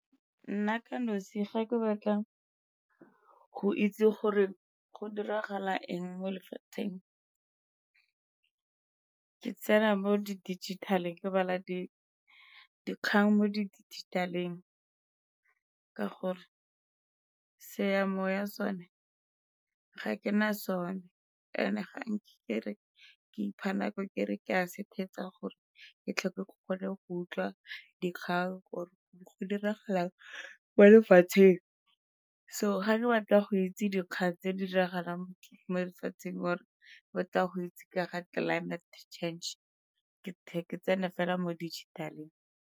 Nna ka nosi ga ke batla go itse gore go diragala eng mo lefatsheng ke tsena mo di-digital-e ke bala dikgang mo di dijithaleng, ka gore seya moya sone ga ke na sone, and-e ga nke ke re ke ipha nako kere ke a se gore ke tlhoke ke gone go utlwa dikgang gore go diragala eng mo lefatsheng. So ga re batla go itse dikgang tse di diragalang mo lefatsheng or-e batla go itse ka ga climate change ke ke tsene fela mo dijithaleng.